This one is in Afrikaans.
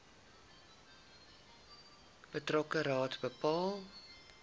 betrokke raad bepaal